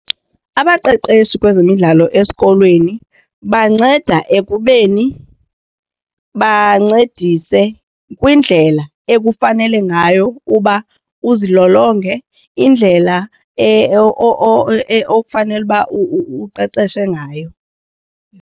Abaqeqeshi kwezemidlalo esikolweni banceda ekubeni bancedise kwindlela ekufanele ngayo uba uzilolonge indlela okufanele uba uqeqeshe ngayo.